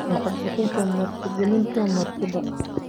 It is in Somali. Lacag bixinta martigelinta martida